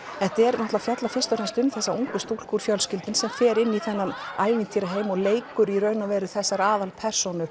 þetta fjallar fyrst og fremst um þessa ungu stúlku úr fjölskyldunni sem fer inn í þennan ævintýraheim og leikur í raun og veru þessar aðalpersónur